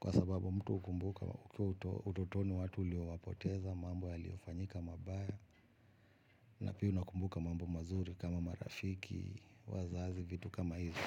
kwa sababu mtu hukumbuka utotoni watu uliowapoteza, mambo yaliofanyika mabaya na pia unakumbuka mambo mazuri kama marafiki, wazazi, vitu kama hizi.